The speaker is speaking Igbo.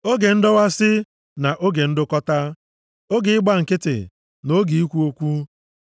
oge ndọwasị, na oge ndụkọta, oge ịgba nkịtị, na oge ikwu okwu, + 3:7 \+xt Ems 5:13; Ilu 25:11\+xt*